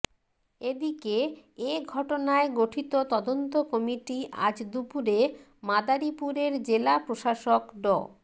এ দিকে এ ঘটনায় গঠিত তদন্ত কমিটি আজ দুপুরে মাদারীপুরের জেলা প্রশাসক ড